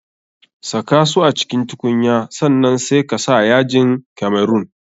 Saka su a cikin tukunya sannan sai ka sa yajin kamerun.